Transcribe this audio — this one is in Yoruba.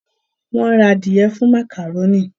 Wón rà adìe fún macaroni